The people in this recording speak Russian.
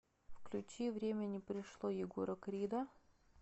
включи время не пришло егора крида